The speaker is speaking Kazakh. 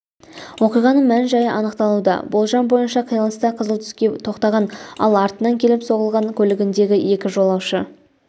оқиғаның мән-жайы анықталуда болжам бойынша қиылыста қызыл түске тоқтаған ал артынан келіп соғылған көлігіндегі екі жолаушы